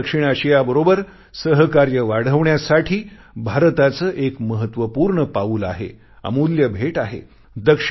संपूर्ण दक्षिण आशियाबरोबर सहकार्य वाढवण्यासाठी भारताचे एक महत्वपूर्ण पाऊल आहे अमूल्य भेट आहे